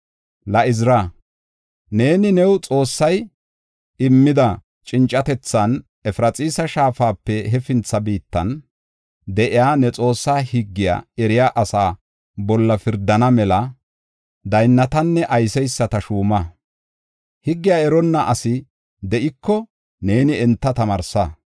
“La Izira, neeni, new Xoossay immida cincatethan Efraxiisa Shaafape hefintha biittan de7iya ne Xoossaa higgiya eriya asaa bolla pirdana mela daynnatanne ayseysata shuuma. Higgiya eronna asi de7iko neeni enta tamaarsa.